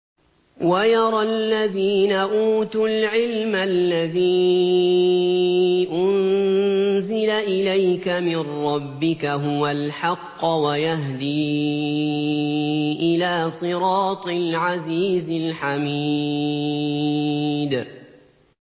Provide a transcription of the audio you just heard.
وَيَرَى الَّذِينَ أُوتُوا الْعِلْمَ الَّذِي أُنزِلَ إِلَيْكَ مِن رَّبِّكَ هُوَ الْحَقَّ وَيَهْدِي إِلَىٰ صِرَاطِ الْعَزِيزِ الْحَمِيدِ